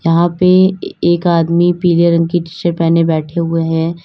वहां पे एक आदमी पीले रंग की टी शर्ट पहने बैठे हुए है।